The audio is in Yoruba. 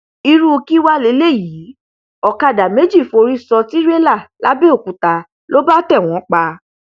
irú kí wàá lélẹyìí ọkadà méjì forí sọ tìrẹlà làbẹòkúta ló bá tẹ wọn pa